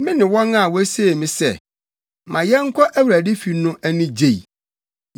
Me ne wɔn a wosee me sɛ, “Ma yɛnkɔ Awurade fi” no ani gyei.